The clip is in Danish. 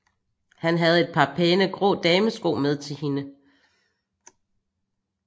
Han havde et par pæne grå damesko med til hende